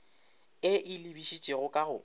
e e lebišitšego ka go